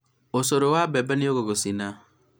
ũcũrũ wa mbembe nĩũgũgũcina